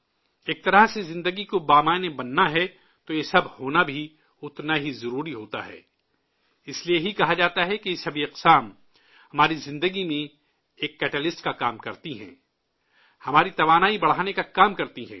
ایک طرح سے زندگی کو مثبت بننا ہے، تو یہ سب ہونا بھی اتنا ہی ضروری ہوتا ہے، اس لیے ہی کہا جاتا ہے کہ یہ سبھی ہنر ہماری زندگی میں ایک کیٹالسٹ کا کام کرتے ہیں، ہماری توانائی بڑھانے کا کام کرتے ہیں